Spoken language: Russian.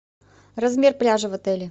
размер пляжа в отеле